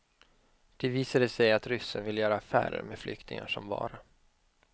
Det visade sig att ryssen ville göra affärer med flyktingar som vara.